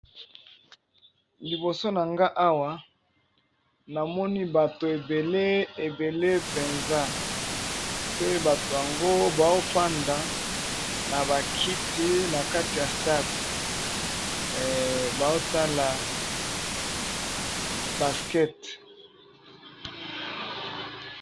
Liboso na nga awa na moni bato ebele ebele penza pe bato yango bazo fanda na ba kiti na kati ya stade bazo tala basket .